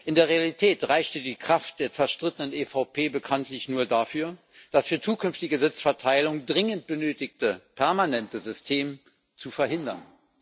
In der Realität reichte die Kraft der zerstrittenen EVP bekanntlich nur dafür, das für zukünftige Sitzverteilungen dringend benötigte permanente System zu verhindern.